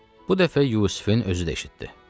Bu dəfə Yusifin özü də eşitdi.